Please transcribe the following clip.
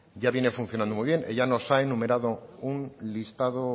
ya viene funcionando muy bien ella nos ha enumerado un listado